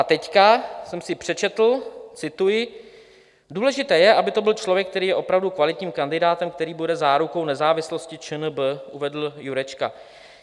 A teď jsem si přečetl - cituji: "Důležité je, aby to byl člověk, který je opravdu kvalitním kandidátem, který bude zárukou nezávislosti ČNB," uvedl Jurečka.